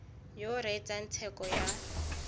yo o reetsang tsheko ya